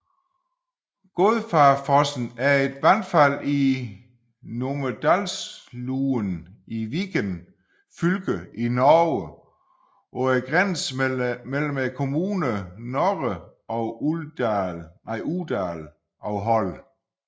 Godfarfossen er et vandfald i Numedalslågen i Viken fylke i Norge på grænsen mellem kommunerne Nore og Uvdal og Hol